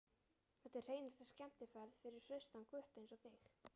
Þetta er hreinasta skemmtiferð fyrir hraustan gutta einsog þig.